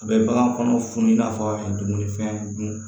A bɛ bagan kɔnɔ funu i n'a fɔ dumunifɛn dun